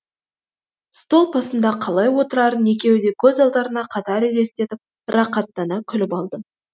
стол басында қалай отырарын екеуі де көз алдарына қатар елестетіп рақаттана күліп алды